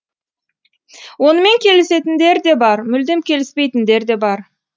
онымен келісетіндер де бар мүлдем келіспейтіндер де бар